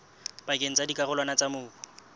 pakeng tsa dikarolwana tsa mobu